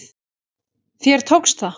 Þér tókst það!